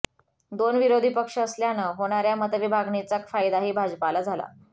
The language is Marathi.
दोन विरोधी पक्ष असल्यानं होणाऱ्या मतविभागणीचाा फायदाही भाजपाला होतो